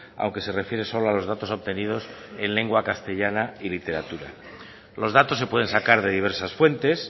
aunque se refiere solo a los datos obtenidos en lengua castellana y literatura los datos se pueden sacar de diversas fuentes